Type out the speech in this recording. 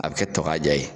A bɛ kɛ tɔ k'a ja ye